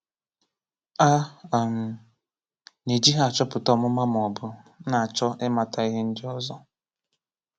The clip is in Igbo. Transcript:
A um na-eji ha achọpụta ọmụma ma ọ bụ na-achọ ịmata ihe ndị ọzọ.